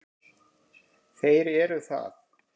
Þeir eru það.